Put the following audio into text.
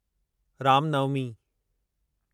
Ram Navami